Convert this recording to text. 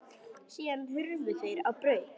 Síðan hurfu þeir á braut.